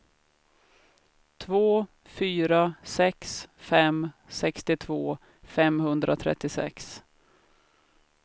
två fyra sex fem sextiotvå femhundratrettiosex